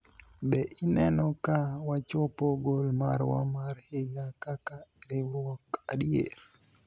be ineno ka wachopo gol marwa mar higa kaka riwruok adier ?